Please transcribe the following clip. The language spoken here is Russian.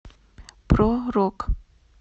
про рок